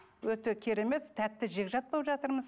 өте керемет тәтті жекжат болып жатырмыз